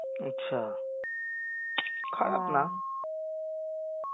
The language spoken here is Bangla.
আচ্ছা খারাপ না